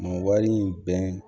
Mun wari in bɛn